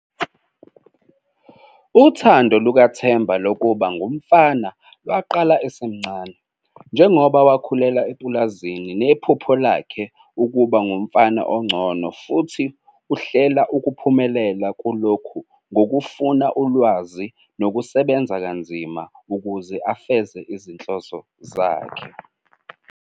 Uthando lukaThemba lokuba ngumfama lwaqala esemncane, njengoba wakhulela epulazini nephupho lakhe ukuba ngumfama oncono futhi uhlela ukuphumelela kulokhu ngokufuna ulwazi nokusebenza kanzima ukuze afeze izinhloso zakhe.